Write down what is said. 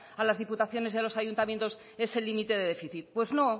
a las diputaciones y a los ayuntamientos ese límite de déficit pues no